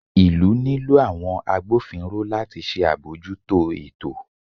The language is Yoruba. ìlú nilo àwọn àgbófínró latí ṣe abọjúto ẹtò